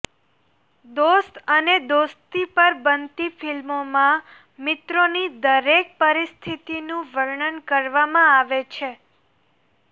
દોસ્ત અને દોસ્તી પર બનતી ફિલ્મોમાં મિત્રોની દરેક પરિસ્થિતિનું વર્ણન કરવામાં આવે છે